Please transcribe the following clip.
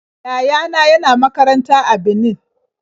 Yaya na yana makaranta a Benin.